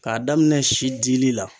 K'a daminɛ si dili la.